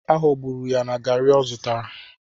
Aghọgburu ya na garri o zutara.